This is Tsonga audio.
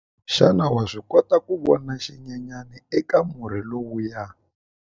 Xana wa swi kota ku vona xinyenyana eka murhi lowuya?